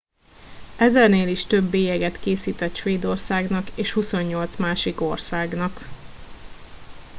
ezernél is több bélyeget készített svédországnak és 28 másik országnak